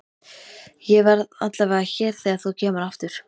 Ég verð allavega hér þegar þú kemur aftur.